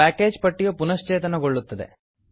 package ಪಟ್ಟಿಯು ಪುನಶ್ಚೇತನಗೊಳ್ಳುತ್ತದೆ